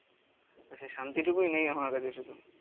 তা সে শান্তি টুকুই নেই আমার কাছে শুধু.